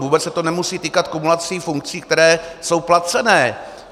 Vůbec se to nemusí týkat kumulací funkcí, které jsou placené.